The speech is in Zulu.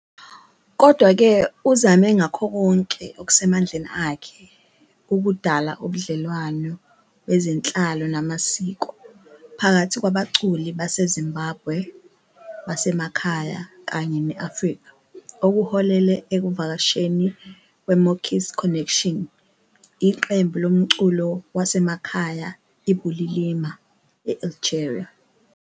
Kodwa-ke uzame ngakho konke okusemandleni akhe ukudala ubudlelwano bezenhlalo namasiko phakathi kwabaculi baseZimbabwe basemakhaya kanye ne-Afrika okuholele ekuvakasheni kweMokis Connection, iqembu lomculo wasemakhaya iBulilima, e-Algeria.